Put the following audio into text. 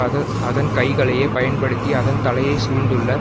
அது அதன் கைகளையே பயன்படுத்தி அதன் தலையை சூழ்ந்துள்ள